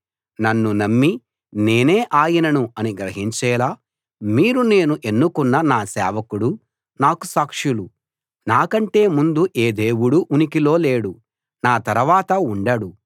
నన్ను నమ్మి నేనే ఆయనను అని గ్రహించేలా మీరు నేను ఎన్నుకున్న నా సేవకుడు నాకు సాక్షులు నాకంటే ముందు ఏ దేవుడూ ఉనికిలో లేడు నా తరవాత ఉండడు